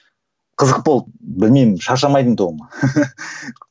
қызық болды білмеймін шаршамайтын тұғын